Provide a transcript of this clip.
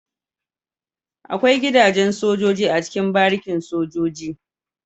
Akwai gida jen sojoji a cikin barikin sojoji